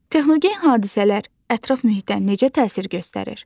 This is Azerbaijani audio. Texnogen hadisələr ətraf mühitə necə təsir göstərir?